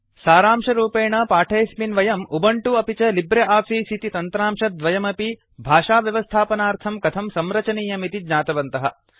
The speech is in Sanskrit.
सारंशरूपेण पाठेऽस्मिन् वयं उबंटु अपि च लिब्रे आफीस् इति तन्त्रांशद्वयमपि भाषाव्यवस्थापनार्थं कथं संरचनीयमिति ज्ञातवन्तः